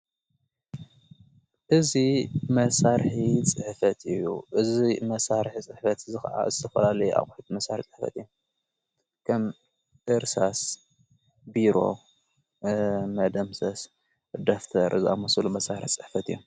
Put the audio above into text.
እዙይ መሣርሒ ጽሕፈት እዩ እዙይ መሣርሕ ጽሕፈት ዝዓ ተፈላለየ ኣቝሒት መሣሪ ጽሕፈት እየ ከም ኢርሳስ ቢሮ መደምሰስ ደፍተር ዝሙሱሉ መሣሕርት ጽሕፈት እዮም።